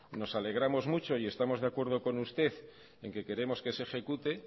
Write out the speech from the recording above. nos alegramos mucho y estamos de acuerdo con usted en que queremos que se ejecute